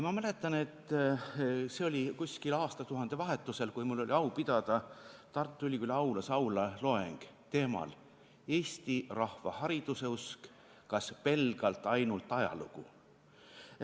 Ma mäletan, et see oli umbes aastatuhande vahetusel, kui mul oli au pidada Tartu Ülikooli aulas loeng teemal "Eesti rahva hariduseusk – kas pelgalt ainult ajalugu?".